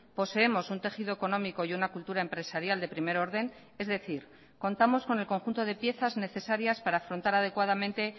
poseemos un tejido económico y una cultura empresarial de primer orden es decir contamos con el conjunto de piezas necesarias para afrontar adecuadamente